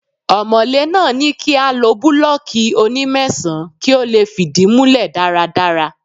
Ọmọ̀lé náà ní kí a lo búlọ́ọ́kì oní mẹ́sàn-án kí ó lè fìdí múlẹ̀ dáradára.